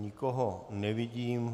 Nikoho nevidím.